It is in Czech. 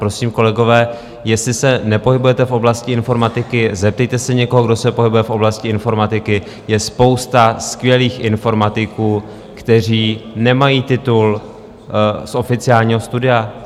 Prosím, kolegové, jestli se nepohybujete v oblasti informatiky, zeptejte se někoho, kdo se pohybuje v oblasti informatiky - je spousta skvělých informatiků, kteří nemají titul z oficiálního studia.